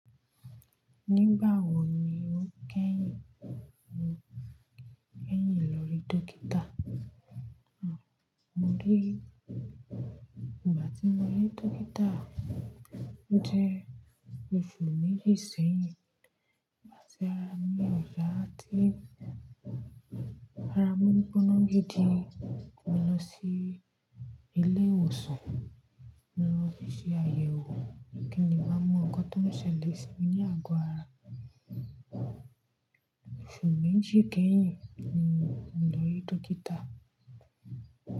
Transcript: Nígbà wo ni o kẹ́yin, kẹ́yin lọ rí dọ́kítà? Àn, mo rí, ìgbà tí mo rí dọ́kítà jẹ́ oṣù méjì sẹ́yìn. Igbati ara mi ò yáa tí ara mi gboná gidi. Mo lọ sí ilé ìwòsàn, mo lọ ṣe àyẹ̀wò kí n máa mọ ohun tó ń ṣẹlẹ̀ sí mi ní àgọ ara. Oṣù méjì kẹ́yìn ni mo lọ rí dọ́kítà.